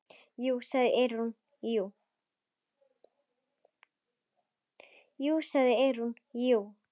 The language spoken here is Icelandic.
Jú, sagði Eyrún, jú.